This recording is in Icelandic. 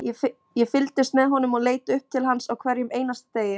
Ég fylgdist með honum og leit upp til hans á hverjum einasta degi,